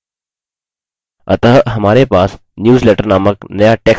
अतः हमारे पास newsletter named नया text document है